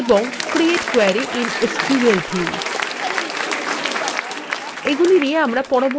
এবং create query in sql view এগুলি নিয়ে আমরা পরবর্তী টিউটোরিয়ালে আলোচনা করব